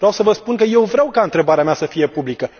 Vreau să vă spun că eu vreau ca întrebarea mea să fie publică!